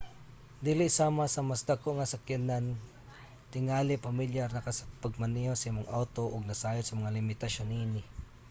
dili sama sa mga mas dako nga sakyanan tingali pamilyar na ka sa pagmaneho sa imong awto ug nasayod sa mga limitasyon niini